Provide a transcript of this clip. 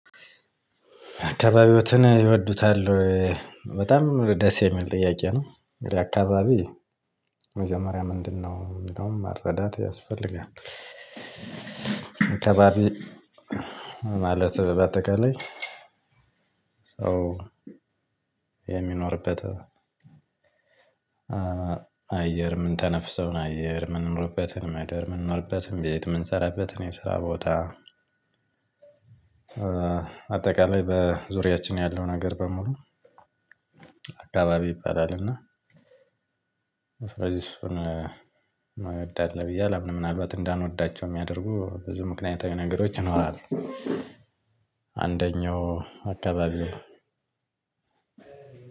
"አካባቢዎትን ይወዱታል ወይ?" በጣም ደስ የሚል ጥያቄ ነው። አካባቢ መጀመሪያ ምንድነው የሚለውን መረዳት ያስፈልጋል። አካባቢ ማለት በአጠቃላይ ሰው የሚኖርበት አየር የምንተነፍሰውን አየር፣ የምንኖርበትን ምደር፣ የምንኖርበትን ቤት፣ የምንሰራበትን የስራ ቦታ፣ አጠቃላይ በዙሪያችን ያለው ነገር በሙሉ አካባቢ ይባላል እና ስለዚህ እሱን እንወዳለን ብዬ አላምንም። ምናልባት እንዳንወዳቸው የሚያደርጉ ብዙ ምክንያታዊ ነገሮች ይኖራሉ። አንደኛው አካባቢው